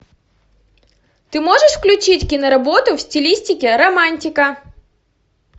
ты можешь включить киноработу в стилистике романтика